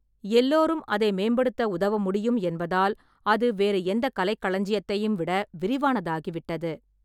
எல்லோரும் அதை மேம்படுத்த உதவ முடியும் என்பதால், அது வேறு எந்த கலைக்களஞ்சியத்தையும் விட விரிவானதாகிவிட்டது.